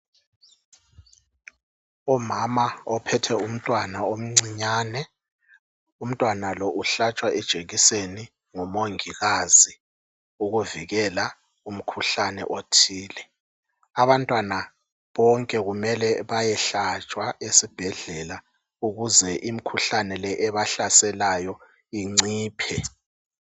Umama ophethe umntwana umncinyane, umntwana lo uhltshwa ijekiseni lomungikazi ukuvikela umkhuhlane othile. Abantwana bonke kumele bayehlatshwa esibhedlela ukuze imikhuhlane le ebahlaselayo iciphe.